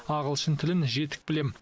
ағылшын тілін жетік білемін